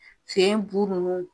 Den bu ninnu